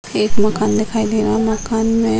एक मकान दिखाई दे रहा है मकान में --